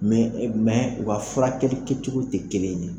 wa furakɛli kɛcogo tɛ kelen ye.